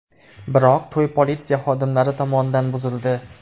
Biroq to‘y politsiya xodimlari tomonidan buzildi.